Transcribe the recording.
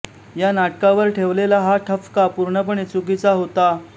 या नाटकावर ठेवलेला हा ठपका पूर्णपणे चुकीचा होता